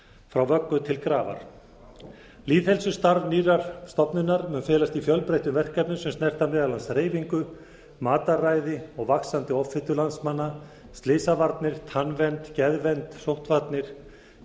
frá vöggu til grafar lýðheilsustarf nýrrar stofnunar mun felast í fjölbreyttum verkefnum á snerta meðal annars hreyfingu mataræði og vaxandi offitu landsmanna slysavarnir tannvernd geðvernd sóttvarnir